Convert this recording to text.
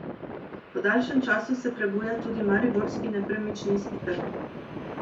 Po daljšem času se prebuja tudi mariborski nepremičninski trg.